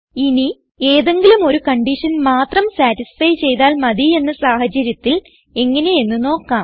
ഇനി ഏതെങ്കിലും ഒരു കൺഡിഷൻ മാത്രം സതിസ്ഫൈ ചെയ്താൽ മതി എന്ന സാഹചര്യത്തിൽ എങ്ങനെയെന്ന് നോക്കാം